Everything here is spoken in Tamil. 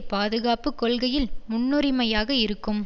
பாதுகாப்பு கொள்கையில் முன்னுரிமையாக இருக்கும்